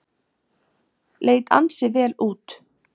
Leit ansi vel út.